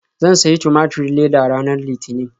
Zan sayi tumaturin leda ranar Litinin.